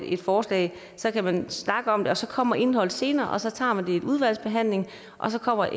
et forslag så kan man snakke om det og så kommer indholdet senere og så tager man det i udvalgsbehandling og så kommer